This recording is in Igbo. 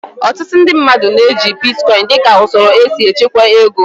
Ọtụtụ ndị mmadụ na-eji bitkọin dịka usoro esi echekwa ego